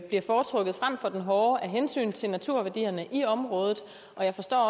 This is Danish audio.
bliver foretrukket frem for den hårde af hensyn til naturværdierne i området og jeg forstår